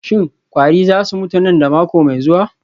Shin kwari za su mutu nan da mako mai zuwa?